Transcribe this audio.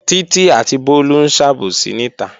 Títí àti Bólú ń sàbòsí níta